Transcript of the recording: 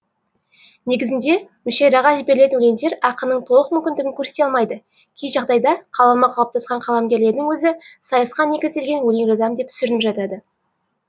негізінде мүшәйраға жіберілетін өлеңдер ақынның толық мүмкіндігін көрсете алмайды кей жағдайда қаламы қалыптасқан қаламгерлердің өзі сайысқа негізделген өлең жазам деп сүрініп жатады